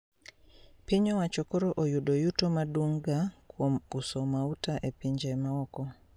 Piny owacho koro oyudo yuto maduonga kuom uso mauta e pinje maoko